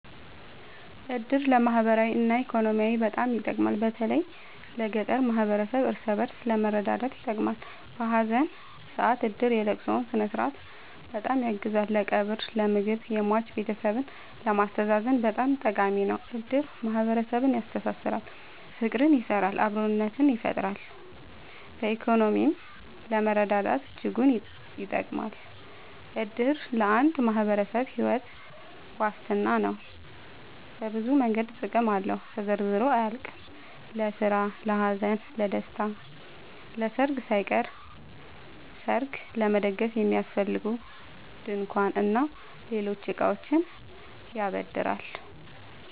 እድር ለማህበራዊ እና ኢኮኖሚያዊ በጣም ይጠቅማል። በተለይ ለገጠር ማህበረሰብ እርስ በእርስ ለመረዳዳት ይጠቅማል። በሀዘን ሰአት እድር የለቅሶውን ስነስርዓት በጣም ያግዛል ለቀብር ለምግብ የሟች ቤተሰብን ለማስተዛዘን በጣም ጠቃሚ ነው። እድር ማህረሰብን ያስተሳስራል። ፍቅር ይሰራል አብሮነትን ይፈጥራል። በኢኮኖሚም ለመረዳዳት እጅጉን ይጠብማል። እድር ለአንድ ማህበረሰብ ሒወት ዋስትና ነው። በብዙ መንገድ ጥቅም አለው ተዘርዝሮ አያልቅም። ለስራ ለሀዘን ለደሰታ። ለሰርግ ሳይቀር ሰርግ ለመደገስ የሚያስፈልጉ ድንኳን እና ሌሎች እቃዎችን ያበድራል